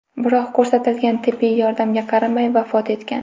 Biroq ko‘rsatilgan tibbiy yordamga qaramay vafot etgan.